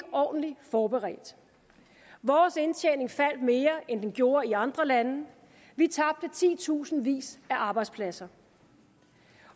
ordentlig forberedt vores indtjening faldt mere end den gjorde i andre lande vi tabte titusindvis af arbejdspladser